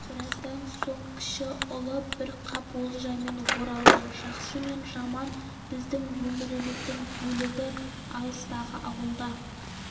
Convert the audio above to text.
біраздан соң кіші ұлы бір қап олжамен оралды жақсы мен жаман біздің өміріміздің бөлігі алыстағы ауылда